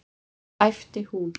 æpti hún.